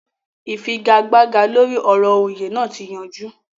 Ìfigagbága lóri ọ̀rọ̀ òyè naa ti yanjú